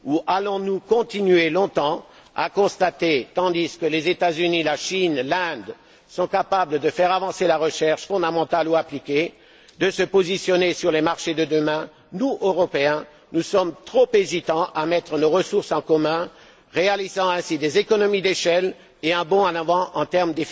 Allons nous continuer longtemps à constater tandis que les États Unis, la Chine, l'Inde sont capables de faire avancer la recherche fondamentale ou appliquée, de se positionner sur les marchés de demain que nous, Européens, sommes trop hésitants à mettre nos ressources en commun, pour réaliser ainsi des économies d'échelle et un bond en avant en termes